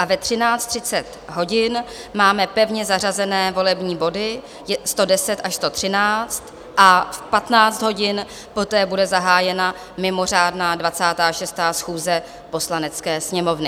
A ve 13.30 hodin máme pevně zařazené volební body 110 až 13 a v 15 hodin poté bude zahájena mimořádná 26. schůze Poslanecké sněmovny.